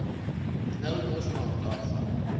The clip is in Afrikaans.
nou losmaak daarvan